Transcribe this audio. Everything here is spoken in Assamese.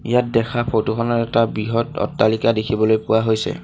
ইয়াত দেখা ফটো খনত এটা বৃহৎ অট্টালিকা দেখিবলৈ পোৱা হৈছে।